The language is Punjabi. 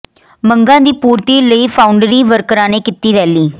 ਮੰਗਾਂ ਦੀ ਪੂਰਤੀ ਲਈ ਫਾਊਂਡਰੀ ਵਰਕਰਾਂ ਨੇ ਕੀਤੀ ਰੈਲੀ